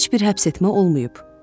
Heç bir həbsetmə olmayıb.